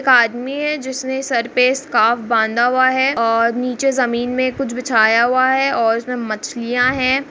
एक आदमी है जिसने सर पे स्कार्फ़ बांधा हुआ है और निचे जमीन में कुछ बिछाया हुआ है और उसमे मछलियां है।